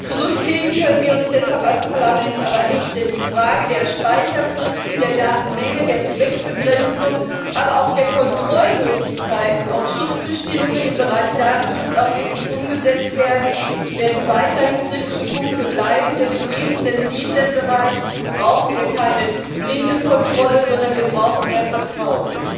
Zurücklehnen können wir uns deshalb als Parlament aber nicht, denn die Frage der Speicherfristen, der Datenmenge, der Zweckbegrenzung, aber auch der Kontrollmöglichkeiten, ob Schutzbestimmungen im Bereich Datenschutz auch wirklich umgesetzt werden, werden weiterhin kritische Punkte bleiben, denn in diesem sensiblen Bereich brauchen wir keine blinde Kontrolle, sondern wir brauchen mehr Vertrauen.